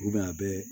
a bɛɛ